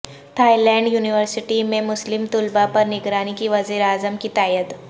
Thai land university میں مسلم طلبہ پر نگرانی کی وزیراعظم کی تائید